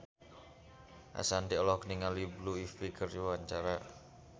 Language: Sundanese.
Ashanti olohok ningali Blue Ivy keur diwawancara